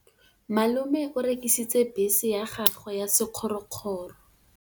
Malome o rekisitse bese ya gagwe ya sekgorokgoro.